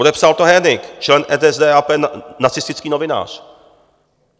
Podepsal to Hönig, člen NSDAP, nacistický novinář.